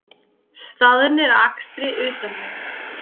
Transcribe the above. Staðnir að akstri utan vega